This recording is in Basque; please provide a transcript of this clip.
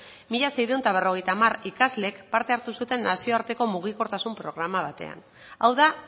mila seiehun eta berrogeita hamar ikaslek parte hartu zuten nazioarteko mugikortasun programa batean hau da